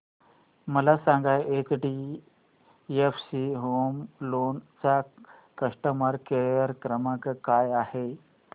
मला सांगा HDFC home loan चा कस्टमर केअर क्रमांक काय आहे